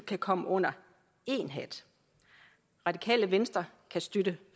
kan komme under én hat radikale venstre kan støtte